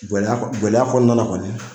Gɛlɛya kɔnɔna na kɔni